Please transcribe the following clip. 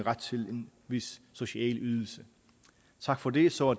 vis social ydelse tak for det så